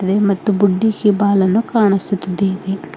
ಇದೆ ಮತ್ತು ಬುಡ್ಡಿ ಇಬಾಲನ್ನು ಕಾಣಿಸುತ್ತಿದ್ದೇವೆ.